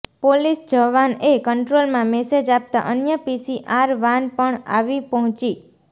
police જવાનએ કંટ્રોલમાં message આપતા અન્ય પી સી આર વાન પણ આવી પહોંચી